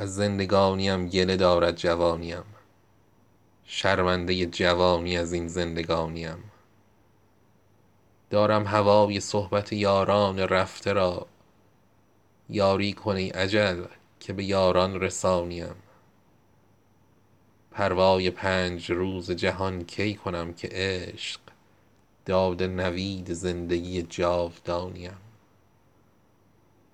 از زندگانی ام گله دارد جوانی ام شرمنده جوانی از این زندگانی ام دور از کنار مادر و یاران مهربان زال زمانه کشت به نامهربانی ام دارم هوای صحبت یاران رفته را یاری کن ای اجل که به یاران رسانی ام پروای پنج روز جهان کی کنم که عشق داده نوید زندگی جاودانی ام